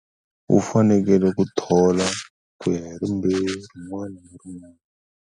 U fanekele ku thola ku ya hi rimbewu rin'wana na rin'wana.